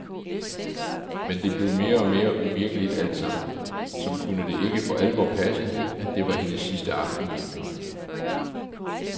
Men det blev mere og mere uvirkeligt alt sammen, som kunne det ikke for alvor passe at det var hendes sidste aften hjemme.